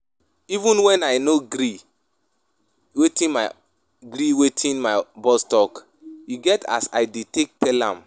Even wen I no gree wetin my gree wetin my boss talk, e get as I dey take tell am.